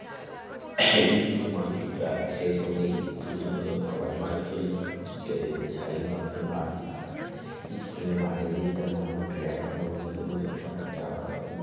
school এর মানচিত্র আঁকা শেষ হতেই ছুটি হল সবাই বাড়ি চলল যেতে যেতে সাহিল ভাবলো বাড়ি আর school এর বাইরের দিকটা মোটামুটি একরকম কিন্তু ভেতর অনেকটা আলাদা